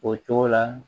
O cogo la